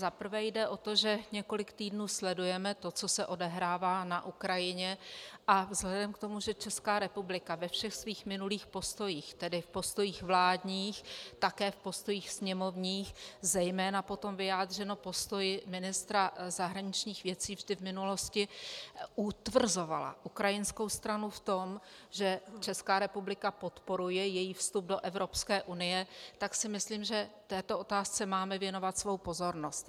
Za prvé jde o to, že několik týdnů sledujeme to, co se odehrává na Ukrajině, a vzhledem k tomu, že Česká republika ve všech svých minulých postojích, tedy v postojích vládních, také v postojích sněmovních, zejména potom vyjádřeno postoji ministra zahraničních věcí, vždy v minulosti utvrzovala ukrajinskou stranu v tom, že Česká republika podporuje její vstup do Evropské unie, tak si myslím, že této otázce máme věnovat svou pozornost.